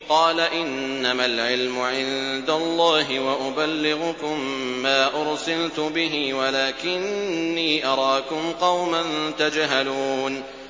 قَالَ إِنَّمَا الْعِلْمُ عِندَ اللَّهِ وَأُبَلِّغُكُم مَّا أُرْسِلْتُ بِهِ وَلَٰكِنِّي أَرَاكُمْ قَوْمًا تَجْهَلُونَ